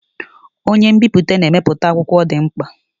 Onye nbipute na-emepụta akwụkwọ ndị dị mkpa.